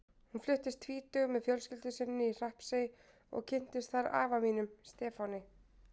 Hún fluttist tvítug með fjölskyldu sinni í Hrappsey og kynntist þar afa mínum, Stefáni.